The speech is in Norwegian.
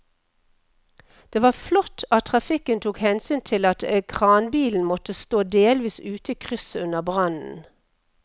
Det var flott at trafikken tok hensyn til at kranbilen måtte stå delvis ute i krysset under brannen.